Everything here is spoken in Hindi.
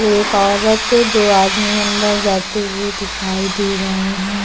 एक औरत दो आदमी अंदर जाते हुए दिखाई दे रहे हैं।